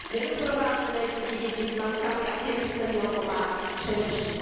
Nedoprovázené děti, děti s matkami a těm by se mělo pomáhat především.